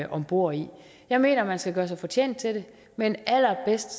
om bord i jeg mener at man skal gøre sig fortjent til det men allerbedst